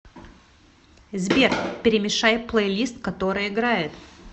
сбер перемешай плейлист который играет